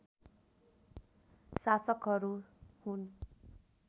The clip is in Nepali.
शासकहरू हुन्